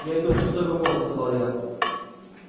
я иду в шестой вагон сказал я